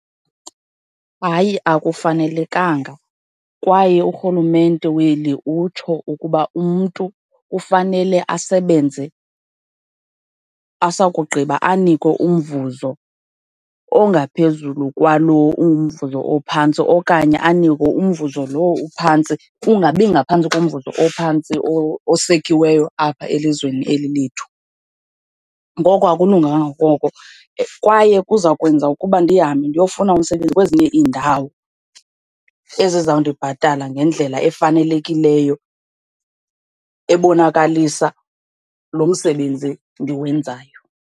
Hayi, akufanelekanga, kwaye urhulumente weli utsho ukuba umntu kufanele asebenze, asakugqiba anikwe umvuzo ongaphezulu kwalo umvuzo ophantsi okanye anikwe umvuzo lowo uphantsi, ungabi ngaphantsi komvuzo ophantsi osekiweyo apha elizweni eli lethu. Ngoko akulunganga kwaye kuza kwenza ukuba ndihambe ndiyofuna umsebenzi kwezinye iindawo ezizawundibhatala ngendlela efanelekileyo, ebonakalisa lo msebenzi ndiwenzayo.